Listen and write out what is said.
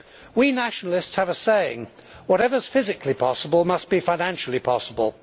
We nationalists have a saying whatever is physically possible must be financially possible.